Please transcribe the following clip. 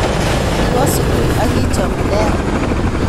Kiwo sugul ak kichom nea.